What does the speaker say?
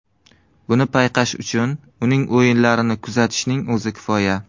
Buni payqash uchun uning o‘yinlarini kuzatishning o‘zi kifoya.